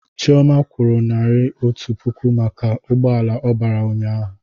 Chioma kwụrụ naira otu puku maka n'ugboala ọ bara ụnyaahụ